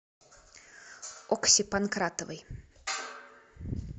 окси панкратовой